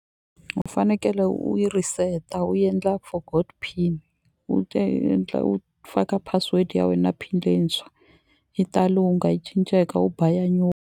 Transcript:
U fanekele u yi reset-a u endla forgot pin u endla u faka password ya we na pin leyintshwa yi ta lungha yi cinceka u ba ya .